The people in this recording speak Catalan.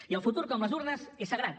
i el futur com les urnes és sagrat